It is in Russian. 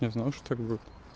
я знал что так будет